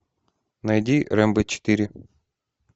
найди рембо четыре